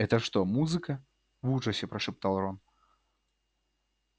это что музыка в ужасе прошептал рон